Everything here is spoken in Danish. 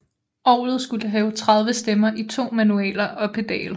Orgelet skulle have 30 stemmer i to manualer og pedal